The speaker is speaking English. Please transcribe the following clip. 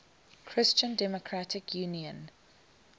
christian democratic union